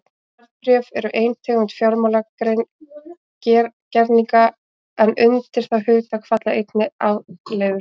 Verðbréf eru ein tegund fjármálagerninga en undir það hugtak falla einnig afleiður.